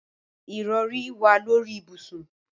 Ìrọrí wà lórí ibùsùn.